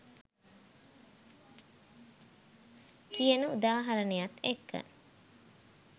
කියන උදාහරණයත් එක්ක.